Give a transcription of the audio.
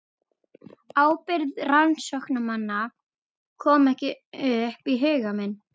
Ábyrgð rannsóknarmanna kom ekki upp í huga minn.